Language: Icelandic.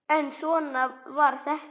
En svona var þetta.